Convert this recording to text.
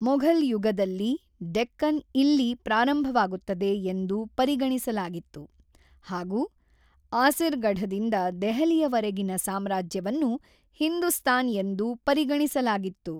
ಮೊಘಲ್ ಯುಗದಲ್ಲಿ, ಡೆಕ್ಕನ್ ಇಲ್ಲಿ ಪ್ರಾರಂಭವಾಗುತ್ತದೆ ಎಂದು ಪರಿಗಣಿಸಲಾಗಿತ್ತು ಹಾಗು ಆಸಿರ್ಗಢದಿಂದ ದೆಹಲಿಯವರೆಗಿನ ಸಾಮ್ರಾಜ್ಯವನ್ನು ಹಿಂದೂಸ್ತಾನ್ ಎಂದು ಪರಿಗಣಿಸಲಾಗಿತ್ತು.